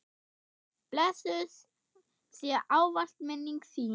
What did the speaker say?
Blessuð sé ávallt minning þín.